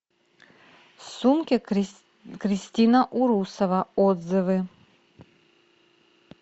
сумки кристина урусова отзывы